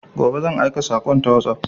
Gobe zan aika sakon ta WhatsApp